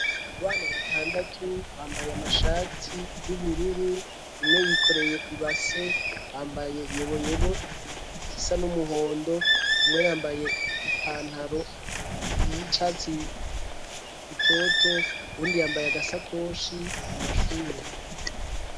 Abana batandatu bambaye amashati y'ubururu, umwe yikoreye ibase, bambaye yeboyebo isa n'umuhondo, umwe yambaye ipantaro, y'icatsi bitoto uwundi yambaye agasakoshi, amashuri.